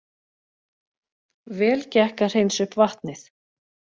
Vel gekk að hreinsa upp vatnið